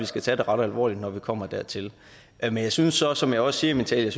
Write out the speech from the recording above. skal tage det ret alvorligt når vi kommer dertil men jeg synes også som jeg også siger i min tale